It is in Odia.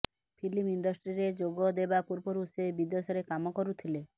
ଫିଲ୍ମ ଇଣ୍ଡଷ୍ଟ୍ରିରେ ଯୋଗଦେବା ପୂର୍ବରୁ ସେ ବିଦେଶରେ କାମ କରୁଥିଲେ